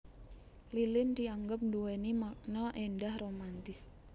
Lilin dianggep nduwéni makna éndah romantis